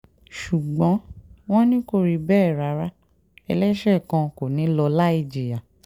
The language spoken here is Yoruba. ṣùgbọ́n wọ́n ní kò rí bẹ́ẹ̀ rárá ẹlẹ́ṣẹ̀ kan kò ní í lọ láì jìyà